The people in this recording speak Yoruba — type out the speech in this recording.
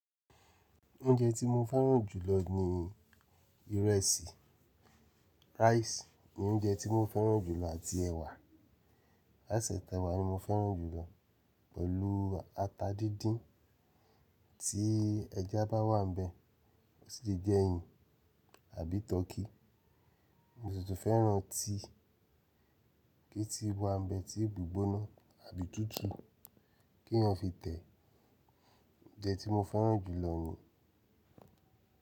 Oúnjẹ tí mo fẹ́ràn jù lọ ni ìrẹsì. Rice ni oúnjẹ tí mo fẹ́ràn jù lọ àti ẹ̀wà. Rice ati ewa ni mo fẹ́ràn jù lọ pẹ̀lú ata díndín tí ẹja bá wà ńbẹ, ó si le je ẹyin àbí tọkí. Mo si tun fẹ́ràn tea kí í ti wà ńbẹ tí gbígbóná àbí tútù kí eyan fi tẹ̀ẹ́. Oúnjẹ tí mo fẹ́ràn jù lọ ni.